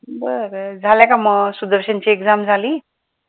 बरं. झालं का मग सुदर्शन ची exam झाली?